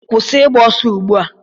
kwụsị ịgba ọsọ ugbu a!